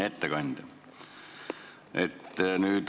Ettekandja!